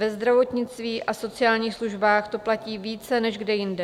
Ve zdravotnictví a sociální službách to platí více než kde jinde.